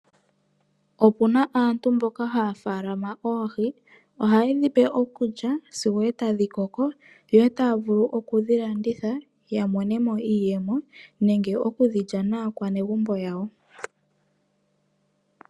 Opuna aantu mboka haafalama oohi ohaye dhipe okulya sigo eta dhi koko yo etavulu okudhi landitha ya monemo iiyemo nenge okudhi lya naakwanegumbo yawo.